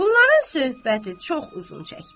Bunların söhbəti çox uzun çəkdi.